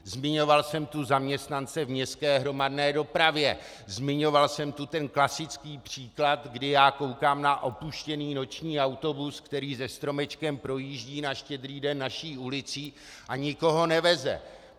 Zmiňoval jsem tu zaměstnance v městské hromadné dopravě, zmiňoval jsem tu ten klasický příklad, kdy já koukám na opuštěný noční autobus, který se stromečkem projíždí na Štědrý den naší ulicí a nikoho neveze.